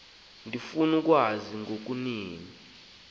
ndifuna ukwazi ngokucacileyo